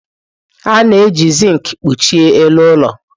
A na-eji zinki kpuchie elu ụlọ.